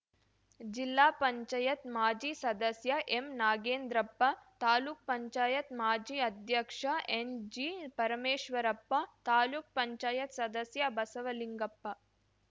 ಜಿಲ್ಲಾ ಪಂಚಾಯತ್ ಮಾಜಿ ಸದಸ್ಯ ಎಂನಾಗೇಂದ್ರಪ್ಪ ತಾಲೂಕ್ ಪಂಚಾಯತ್ ಮಾಜಿ ಅಧ್ಯಕ್ಷ ಎಸ್‌ಜಿಪರಮೇಶ್ವರಪ್ಪ ತಾಲೂಕ್ ಪಂಚಾಯತ್ ಸದಸ್ಯ ಬಸವಲಿಂಗಪ್ಪ